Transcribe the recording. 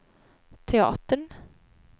teatern